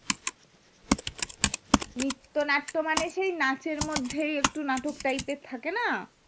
নিত্য নাট্য মনে সেই নাচ এর মধ্যে নাটক type এর থাকেনা